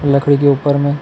लकड़ी के ऊपर में--